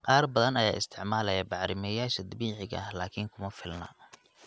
Qaar badan ayaa isticmaalaya bacrimiyeyaasha dabiiciga ah, laakiin kuma filna.